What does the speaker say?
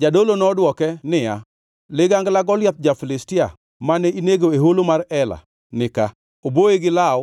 Jadolo nodwoke niya, “Ligangla Goliath ja-Filistia, mane inego e holo mar Ela, nika; oboye gi law